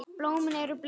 Blómin eru bleik.